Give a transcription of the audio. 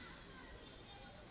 se o mo ja ka